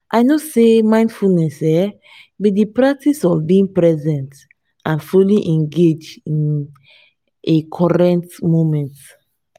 i know say mindfulness um be di practice of being present and fully engaged in a current moment.